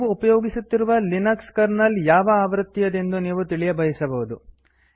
ನೀವು ಉಪಯೋಗಿಸುತ್ತಿರುವ Linux kernel ಯಾವ ಆವೃತ್ತಿಯದೆಂದು ತಿಳಿಯಬಯಸಬಹುದು